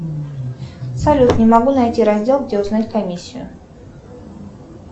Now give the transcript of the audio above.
салют не могу найти раздел где узнать комиссию